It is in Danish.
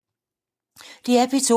DR P2